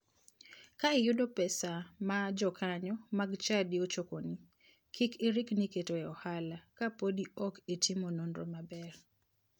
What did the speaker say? Ka iyudo pesa ma jokanyo mag chadi ochokoni, kik irikni keto e ohala ka podi ok itimo nonro maber.